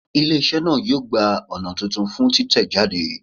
Ile-iṣẹ naa yoo gba ọna tuntun fun titẹjade